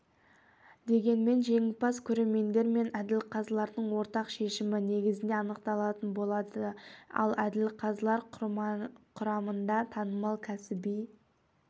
дегенмен жеңімпаз көрермендер мен әділқазылардың ортақ шешімі негізінде анықталатын болады ал әділқазылар құрамында танымал кәсіби